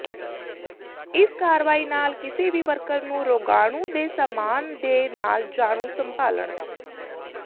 ਇਸ ਕਾਰਵਾਈ ਨਾਲ ਕਿਸੇ ਵੀ ਵਰਕਰ ਨੂੰ ਰੋਗਾਣੂ ਦੇ ਸਾਮਾਨ ਦੇ ਨਾਲ ਜਾਣੂ ਸੰਭਾਲਣ